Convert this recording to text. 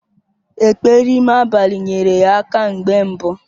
Ekpere ime abalị nyere ya aka mgbe mbu